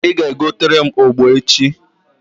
Ị ga-egotere m ogbo echi